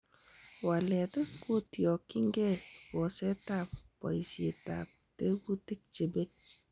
Walet kotyongingei bosetab boisietab tekutik chebei.